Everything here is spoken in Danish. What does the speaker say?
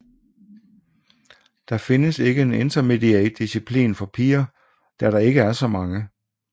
Der findes ikke en Intermediate disciplin for piger da der ikke er så mange